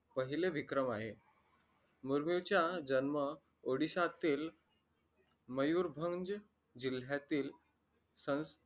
पहिले विक्रम आहे मुर्मू चा जन्म odisha तील मयूर भंग जिल्ह्यातील